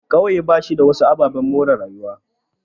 Ƙauye bashi da wasu ababen more rayuwa.